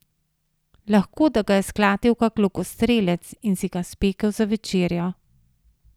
Lahko, da ga je sklatil kak lokostrelec in si ga spekel za večerjo.